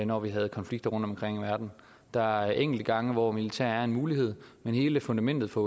når vi har konflikter rundtomkring i verden der er enkelte gange hvor militær er en mulighed men hele fundamentet for